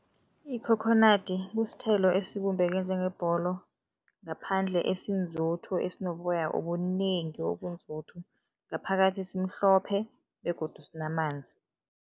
Ikhokhonadi kusithelo esibumbeke njengebholo, ngaphandle esinzuthu, esinoboya obunengi, obunzuthu, ngaphakathi simhlophe begodu sinamanzi.